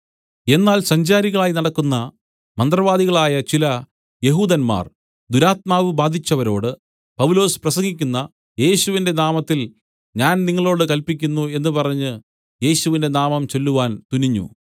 എന്നാൽ സഞ്ചാരികളായി നടക്കുന്ന മന്ത്രവാദികളായ ചില യെഹൂദന്മാർ ദുരാത്മാവ് ബാധിച്ചവരോട് പൗലൊസ് പ്രസംഗിക്കുന്ന യേശുവിന്റെ നാമത്തിൽ ഞാൻ നിങ്ങളോടു കൽപ്പിക്കുന്നു എന്ന് പറഞ്ഞ് യേശുവിന്റെ നാമം ചൊല്ലുവാൻ തുനിഞ്ഞു